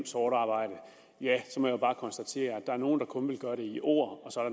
sort arbejde så må jeg bare konstatere at der er nogle der kun vil gøre det i ord og så er